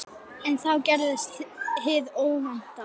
En þá gerðist hið óvænta.